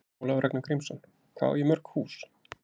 Ólafur Ragnar Grímsson: Hvað á ég mörg hús?